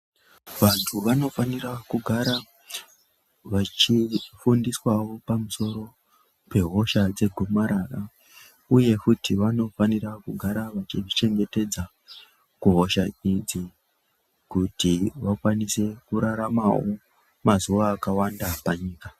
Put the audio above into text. Vantu vanofanira kugara vachifundiswawo pamusoro pehosha dzegomarara uye futi vanofanira kugara vachizvichengetedza kuhosha idzi kuti vakwanise kuraramawo mazuwa akawanda panyika.